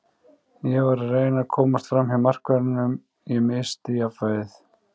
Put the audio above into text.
Ég var að reyna að komast framhjá markverðinum, ég missti jafnvægið.